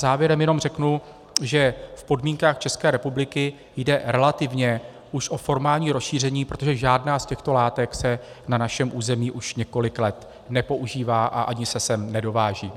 Závěrem jenom řeknu, že v podmínkách České republiky jde relativně už o formální rozšíření, protože žádná z těchto látek se na našem území už několik let nepoužívá a ani se sem nedováží.